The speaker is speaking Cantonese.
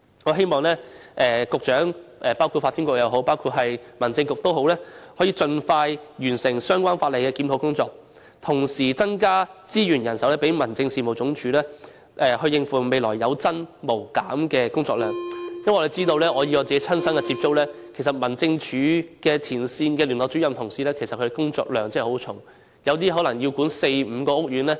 我希望無論是發展局局長或民政事務局局長也可以盡快完成相關法例的檢討工作，同時增加民政事務總署的資源和人手，以應付未來有增無減的工作量，因為透過親身接觸，我知道其實民政事務總署前線聯絡主任的工作量真的非常繁重，當中有些可能要管理四五個屋苑。